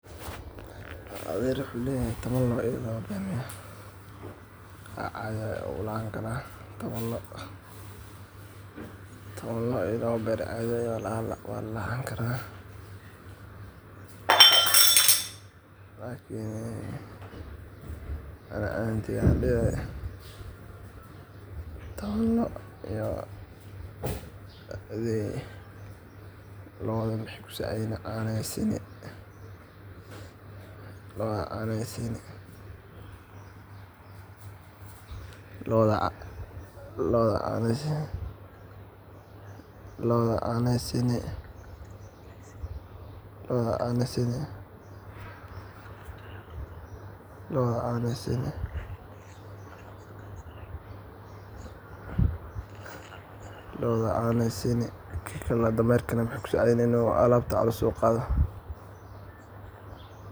adeer wuxuu leeyahay toban lo' iyo laba dameer